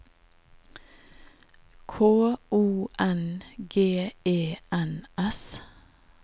K O N G E N S